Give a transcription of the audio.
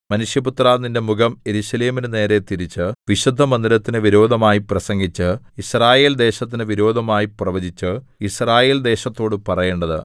മനുഷ്യപുത്രാ നിന്റെ മുഖം യെരൂശലേമിനു നേരെ തിരിച്ച് വിശുദ്ധമന്ദിരത്തിനു വിരോധമായി പ്രസംഗിച്ച് യിസ്രായേൽദേശത്തിനു വിരോധമായി പ്രവചിച്ച് യിസ്രായേൽദേശത്തോടു പറയേണ്ടത്